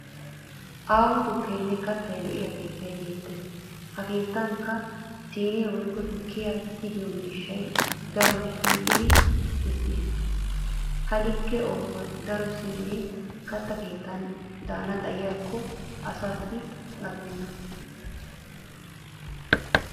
Aaho tukkenne katta lo'iya keettay beettes ha keettanikka siinee woykko tukkiya tigiyo miishshay daroy shiiqi uttis. Ha likke ooso daro siinee katta kettan daana xayikko asaassi gakkenna.